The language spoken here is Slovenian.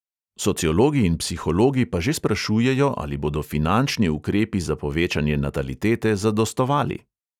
Sociologi in psihologi pa že sprašujejo, ali bodo finančni ukrepi za povečanje natalitete zadostovali.